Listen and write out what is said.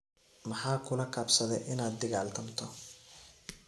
Maxaa kulakabsadhe ina digaltamto?